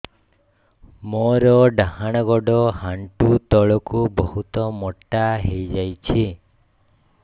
ମୋର ଡାହାଣ ଗୋଡ଼ ଆଣ୍ଠୁ ତଳକୁ ବହୁତ ମୋଟା ହେଇଯାଉଛି